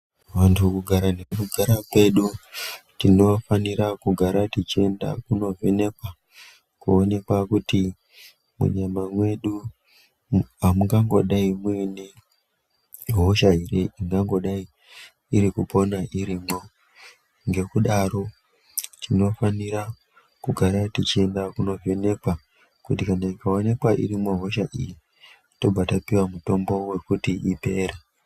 Vantu kugara nekugara kwedu tinofanira kugara tichienda kunovhenekwa, koonekwa kuti munyama mwedu amungangodai muine hosho ere ingandodai iri kupona irimwo ngekudaro tinofanira kugara tichiienda kovhenekwa kuti kana ikaonekwa irimo hosha iyi tobva tapiwa mutombo wekuti ipere .